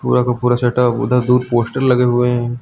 पूरा का पूरा सेटअप उधर दूर पोस्टर लगे हुए हैं।